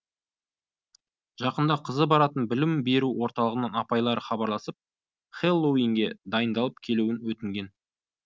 жақында қызы баратын білім беру орталығынан апайлары хабарласып хеллоуинге дайындалып келуін өтінген